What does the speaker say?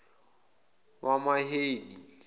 wamaheli